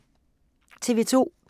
TV 2